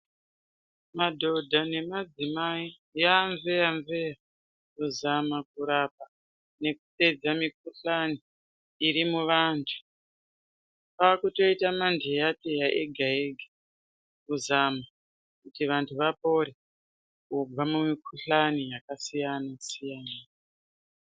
Madhodha nemadzimai yaa mveya-mveya kuzama kurapa nekupedza mikuhlani iri muvantu. Kwakutoita mandeya teya ega ega kuzama kuti vantu vapore kubva kumikuhlani yakasiyana siyana.